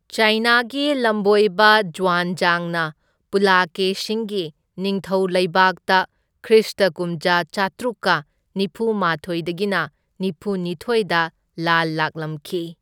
ꯆꯥꯏꯅꯥꯒꯤ ꯂꯝꯕꯣꯏꯕ ꯖ꯭ꯋꯥꯟꯖꯥꯡꯅ ꯄꯨꯂꯥꯀꯦꯁꯤꯟꯒꯤ ꯅꯤꯡꯊꯧ ꯂꯩꯕꯥꯛꯇ ꯈ꯭ꯔꯤꯁꯇ ꯀꯨꯝꯖꯥ ꯆꯥꯇ꯭ꯔꯨꯛꯀ ꯅꯤꯐꯨꯃꯥꯊꯣꯢꯗꯒꯤꯅ ꯅꯤꯐꯨ ꯅꯤꯊꯣꯢꯗ ꯂꯥꯜꯂꯛꯂꯝꯈꯤ꯫